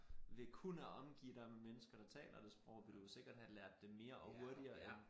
Ved kun at omgive dig med mennesker der taler det sprog ville du jo sikkert have lært det mere og hurtigere end